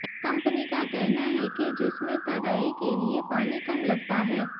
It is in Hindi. कंपनी का कहना है कि जिसमें तराई के लिए पानी कम लगता है